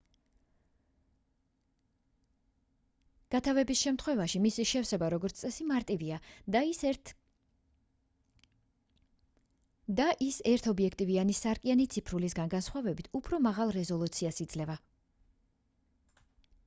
გათავების შემთხვევაში მისი შევსება როგორც წესი მარტივია და ის ერთობიექტივიანი სარკიანი ციფრულისგან განსხვავებით უფრო მაღალ რეზოლუციას იძლევა